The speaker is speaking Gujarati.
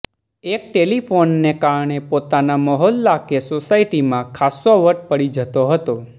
એક ટેલિફોનને કારણે પોતાના મહોલ્લા કે સોસાયટીમાં ખાસ્સો વટ પડી જતો હતો